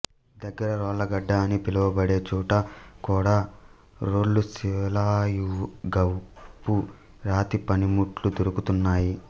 దగ్గర రోళ్ళగడ్డ అని పిలువ బడేచోట కూడా రోళ్ళుశిలాయుగపు రాతి పనిముట్లు దొరుకుతున్నాయి